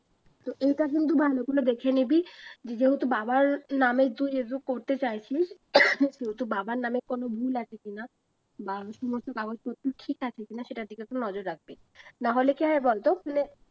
তো এইটা কিন্তু ভালো করে দেখে নিবি যেহেতু বাবার নামের করতে চাইছিস সেহেতু বাবার নামে কোনো ভুল আছে কিনা কাগজপত্র ঠিক আছে কিনা সেটার দিকে একটু নজর রাখবি নাহলে কি হয় বলতো